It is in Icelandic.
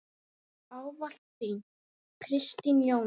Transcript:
Ávallt þín, Kristín Jóna.